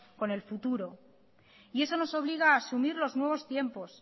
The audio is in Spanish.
con el futuro y eso nos obliga a asumir los nuevos tiempos